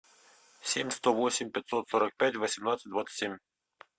семь сто восемь пятьсот сорок пять восемнадцать двадцать семь